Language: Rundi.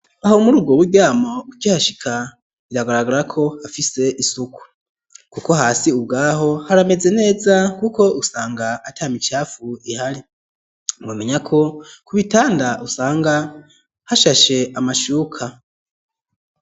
Aho muri ubwo buryamo, ukihashika, biragaragara ko, hafise isuku; kuko hasi ubwaho, harameze neza, kuko usanga, ata micafu ihari; mwomenya ko, ku bitanda, usanga hashashe, amashuka.